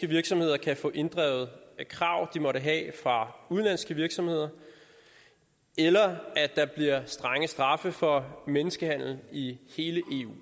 virksomheder kan få inddrevet krav de måtte have fra udenlandske virksomheder eller at der bliver strenge straffe for menneskehandel i hele eu